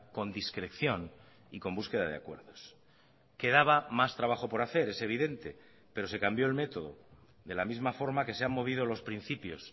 con discreción y con búsqueda de acuerdos quedaba más trabajo por hacer es evidente pero se cambió el método de la misma forma que se han movido los principios